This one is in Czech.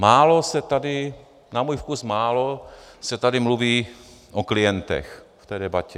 Málo se tady, na můj vkus málo, se tady mluví o klientech v té debatě.